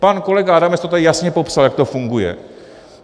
Pan kolega Adamec to tady jasně popsal, jak to funguje.